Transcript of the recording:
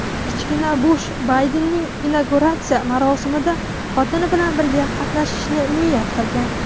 kichkina Bush Baydenning inauguratsiya marosimida xotini bilan birga qatnashishni niyat qilgan.